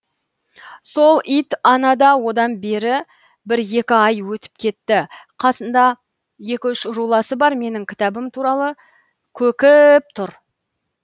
сол ит анада одан бері бір екі ай өтіп кетті қасында екі үш руласы бар менің кітабым туралы көк і іп тұр